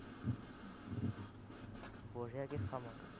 বঢ়িয়াকে খাম আকৌ।